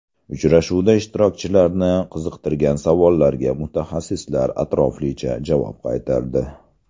Uchrashuvda ishtirokchilarni qiziqtirgan savollarga mutaxassislar atroflicha javob qaytardi.